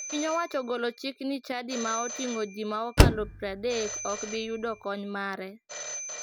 Piny owacho ogolo chik ni chadi ma oting'o ji ma okalo 30 ok bi yudo kony mare.